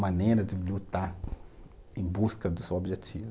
maneira de lutar em busca do seu objetivo.